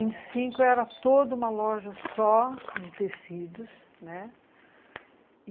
Então, a vinte e cinco era toda uma loja só de tecidos, né?